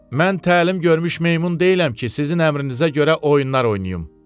Mən təlim görmüş meymun deyiləm ki, sizin əmrinizə görə oyunlar oynayım.